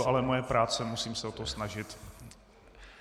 Je to ale moje práce, musím se o to snažit.